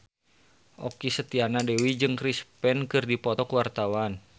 Okky Setiana Dewi jeung Chris Pane keur dipoto ku wartawan